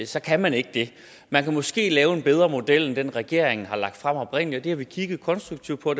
så kan man ikke det man kan måske lave en bedre model end den regeringen har lagt frem oprindelig og det har vi kigget konstruktivt på